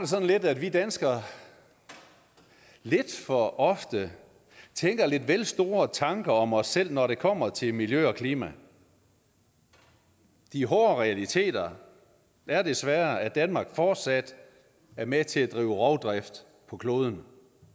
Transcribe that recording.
sådan at vi danskere lidt for ofte tænker lidt vel store tanker om os selv når det kommer til miljø og klima de hårde realiteter er desværre at danmark fortsat er med til at drive rovdrift på kloden